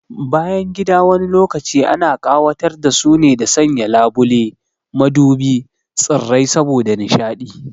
Bayangida wani lokaci ana ƙawatar da su ne da sanya labule, madubi, tsirrai saboda nishaɗi